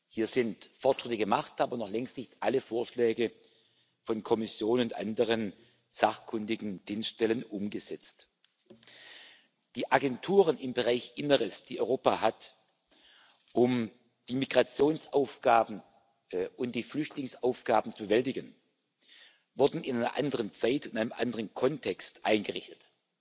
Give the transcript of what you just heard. Hier sind Fortschritte gemacht, aber noch längst nicht alle Vorschläge von Kommission und anderen sachkundigen Dienststellen umgesetzt. Die Agenturen im Bereich Inneres, die Europa hat, um die Migrationsaufgaben und die Flüchtlingsaufgaben zu bewältigen, wurden in einer anderen Zeit in einem anderen Kontext eingerichtet.